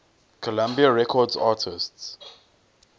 columbia records artists